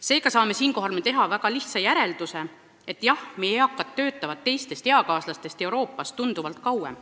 Seega saame siinkohal teha lihtsa järelduse: jah, meie eakad töötavad oma eakaaslastest Euroopas tunduvalt kauem.